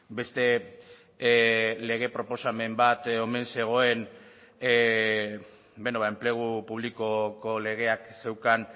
beste lege proposamen bat omen zegoen enplegu publikoko legeak zeukan